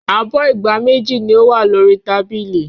Abọ́ ìgbá méjì ni ó wà lórí tábìlì.